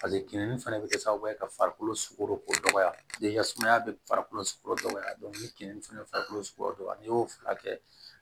kinni fana bɛ kɛ sababu ye ka farikolo sukoro ko dɔgɔya sumaya bɛ farikolo sugu dɔgɔya keninni fɛnɛ farikolo sugu dɔ n'i y'o furakɛ